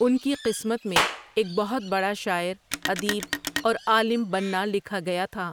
ان کی قسمت میں ایک بہت بڑا شاعر، ادیب اور عالم بننا لکھا گیا تھا ۔